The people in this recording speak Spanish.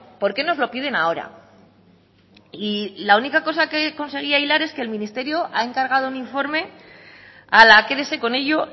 por qué nos lo piden ahora y la única cosa que conseguía hilar es que el ministerio ha encargado un informe a la quédese con ello